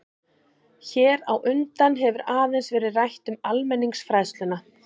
Hér á undan hefur aðeins verið rætt um almenningsfræðsluna.